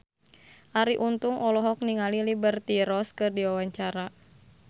Arie Untung olohok ningali Liberty Ross keur diwawancara